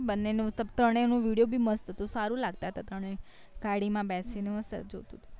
બંને નું તબ તો એને video ભી મસ્ત હતું હારું લગતા હતા ત્રણેય ગાડી માં બેડી ને હતું